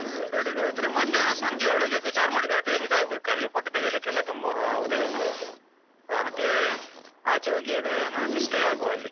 ಆ ಬೆಳಿಗ್ಗೆ ಹೋದ್ರೆ ಮಧ್ಯಾಹ್ನ ಸಂಜೆ ಒಳಗೆ ಅದು ಚಾರ್ಮಡಿ ಘಾಟಿ ಇಳ್ದಾಗ್ಬೇಕು ಅಲ್ಲಿ ಫೋಟೋ ತೆಗೀಲಿಕ್ಕೆಲ್ಲ ತುಂಬ ಹೋಗ್ತದಲ್ಲ ಮತ್ತೆ ಆಚೆ ಹೋಗಿ ಅದು ಏನಾದ್ರು stay ಆಗುವ ಅಲ್ಲಿ.